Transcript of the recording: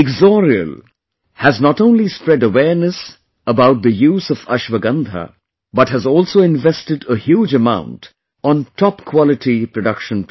Ixoreal has not only spread awareness about the use of Ashwagandha, but has also invested a huge amount on topquality production process